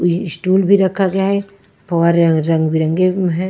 Stool भी रखा गया है पवार रंग बिरंगे है।